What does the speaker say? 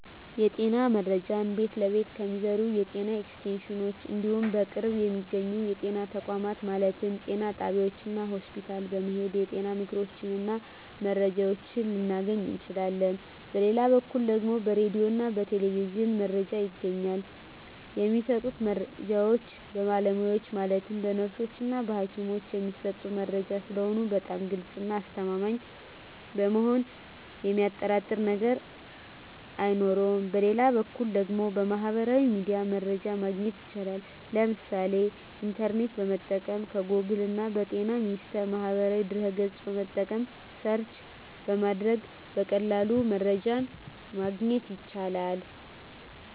የጤና መረጃ ቤት ለቤት ከሚዞሩት የጤና ኤክስቴንሽኖች እንዲሁም በቅርብ በሚገኙ የጤና ተቋማት ማለትም ጤና ጣቢያዎች እና ሆስፒታል በመሔድ የጤና ምክሮችን እና መረጃዎችን ልናገኝ እንችላለን በሌላ በኩል ደግሞ በራዲዮ እና በቴሌቪዥንም መረጃ ይገኛል የሚሰጡት መረጃዎች በባለሙያዎች ማለትም በነርሶች እና በሀኪሞች የሚሰጥ መረጂ ስለሆነ በጣም ግልፅ እና አስተማማኝ በመሆኑ የሚያጠራጥር ነገር አይኖረውም በሌላ በኩል ደግሞ በሚህበራዊ ሚዲያ መረጃ ማግኘት ይቻላል የምሳሌ ኢንተርኔትን በመጠቀም ከጎግል እና በጤና ሚኒስቴር ማህበራዊ ድህረ ገፅን በመጠቀም ሰርች በማድረግ በቀላሉ መረጃን ማግኘት ይቻላል።